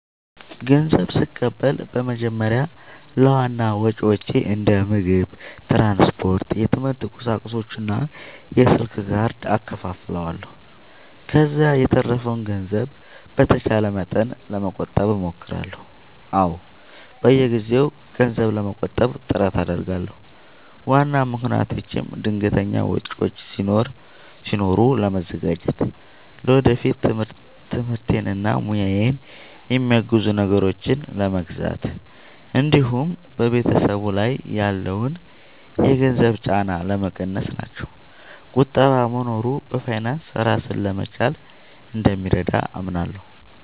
ንዘብ ስቀበል በመጀመሪያ ለዋና ወጪዎቼ እንደ ምግብ፣ ትራንስፖርት፣ የትምህርት ቁሳቁሶች እና የስልክ ካርድ እከፋፍለዋለሁ። ከዚያ የተረፈውን ገንዘብ በተቻለ መጠን ለመቆጠብ እሞክራለሁ። አዎ፣ በየጊዜው ገንዘብ ለመቆጠብ ጥረት አደርጋለሁ። ዋና ምክንያቶቼም ድንገተኛ ወጪዎች ሲኖሩ ለመዘጋጀት፣ ለወደፊት ትምህርቴን እና ሙያዬን የሚያግዙ ነገሮችን ለመግዛት እንዲሁም በቤተሰብ ላይ ያለውን የገንዘብ ጫና ለመቀነስ ናቸው። ቁጠባ መኖሩ በፋይናንስ ራስን ለመቻል እንደሚረዳ አምናለሁ።